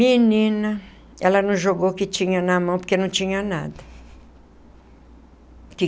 Menina... Ela não jogou o que tinha na mão, porque não tinha nada.